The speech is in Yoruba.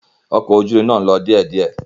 Ọkọ̀ ojú irin náà ń lọ díẹ̀díẹ̀.